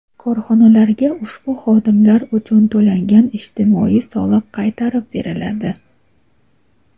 korxonalarga ushbu xodimlar uchun to‘langan ijtimoiy soliq qaytarib beriladi.